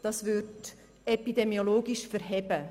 Das würde epidemiologisch standhalten.